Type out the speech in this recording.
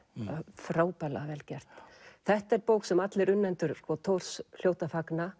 frábærlega vel gert þetta er bók sem allir unnendur Thors hljóta að fagna